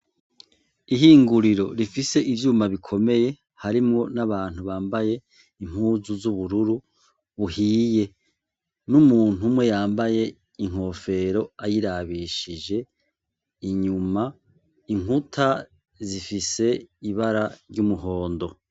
Ihinguriro rifise ivyuma bikomeye harimwo n' abantu bambaye impuzu z' ubururu uhiye n' umuntu umwe yambaye inkofero ayirabishije inyuma inkuta zifise ibara ry' umuhondo.